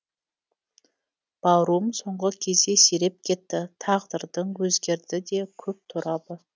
баруым соңғы кезде сиреп кетті тағдырдың өзгерді де көп торабы